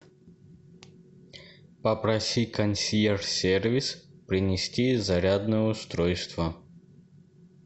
попроси консьерж сервис принести зарядное устройство